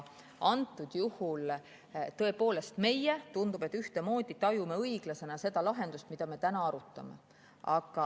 Antud juhul tõepoolest tundub, et me tajume ühtemoodi õiglasena seda lahendust, mida me täna arutame.